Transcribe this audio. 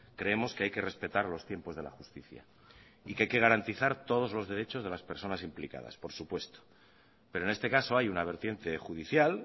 creemos que hay que respetar los tiempos de la justicia y que hay que garantizar todos los derechos de las personas implicadas por supuesto pero en este caso hay una vertiente judicial